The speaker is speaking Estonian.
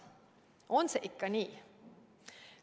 On see ikka nii?